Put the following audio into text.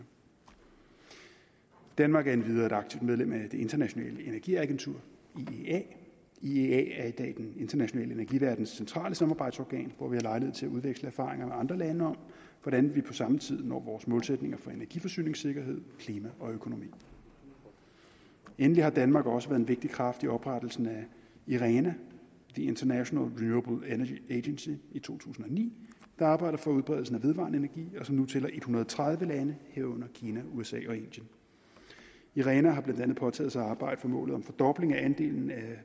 danmark er endvidere et aktivt medlem af det internationale energiagentur iea iea er i dag den internationale energiverdens centrale samarbejdsorgan hvor vi har lejlighed til at udveksle erfaringer med andre lande om hvordan vi på samme tid når vores målsætninger for energiforsyningssikkerhed klima og økonomi endelig har danmark også været en vigtig kraft i oprettelsen af irena international renewable energy agency i to tusind og ni der arbejder for udbredelsen af vedvarende energi og som nu tæller en hundrede og tredive lande herunder kina usa og indien irena har blandt andet påtaget sig at arbejde for målet om fordobling af andelen af